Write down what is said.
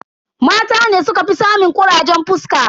Mata ne sukafi samun kurajen fuska.